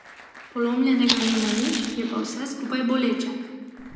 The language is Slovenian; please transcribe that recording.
Polomljenega nima nič, je pa vse skupaj boleče.